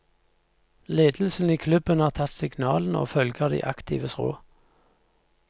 Ledelsen i klubben har tatt signalene og følger de aktives råd.